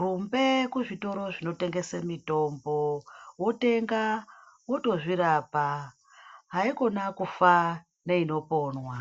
rumbe kuzvitoro zvino tengeswa mitombo wotenga wotozvirapa usafa neino ponwa.